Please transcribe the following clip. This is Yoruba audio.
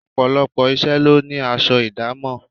Ọ̀pọ̀lọpọ̀ iṣẹ́ lo ní aṣọ idamo.